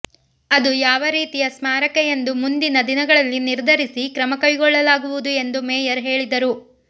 ಅದು ಯಾವ ರೀತಿಯ ಸ್ಮಾರಕ ಎಂದು ಮುಂದಿನ ದಿನಗಳಲ್ಲಿ ನಿರ್ಧರಿಸಿ ಕ್ರಮ ಕೈಗೊಳ್ಳಲಾಗುವುದು ಎಂದು ಮೇಯರ್ ಹೇಳಿದರು